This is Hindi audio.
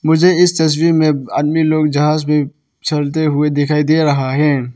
मुझे इस तस्वीर में आदमी लोग जहाज में चढते हुए दिखाई दे रहा है।